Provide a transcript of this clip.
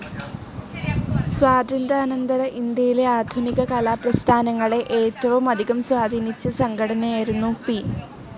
സ്വാതന്ത്ര്യാനന്തര ഇന്ത്യയിലെ ആധുിനിക കലാ പ്രസ്ഥാനങ്ങളെ ഏറ്റവുമധികം സ്വാധീനിച്ച സംഘടയായിരുന്നു പി.